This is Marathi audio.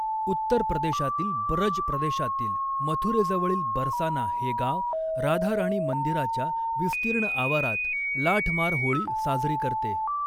उत्तर प्रदेशातील ब्रज प्रदेशातील मथुरेजवळील बरसाना हे गाव राधा राणी मंदिराच्या विस्तीर्ण आवारात लाठ मार होळी साजरी करते.